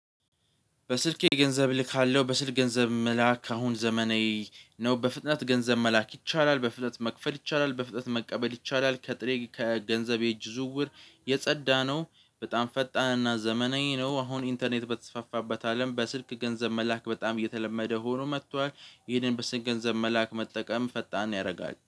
በስልኬ ገንዘብ እልካለሁ በስልክ ገንዘብ መላክ አሁን ዘመናዊ ነው። በፍጥነት ገንዘብ መላክ ይቻላል በፍጥነት መክፈል ይቻላል በፍጥነት መቀበል ይቻላል። ከጥሬ ከገንዘብ የእጅ ዝውውር የጸዳነው በጣም ፈጣንና ዘመናዊ ነው። አሁን ኢንተርኔት በተስፋፋበት አለም በስልክ ገንዘብ መላክ በጣም እየተለመደ ሆኖ መጥቷል። ይሄንን በስልክ ገንዘብ መላክ መጠቀም ፈጣን ያደርጋል